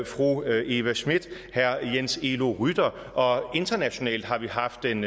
fru eva smith herre jens elo rytter og internationalt har vi haft den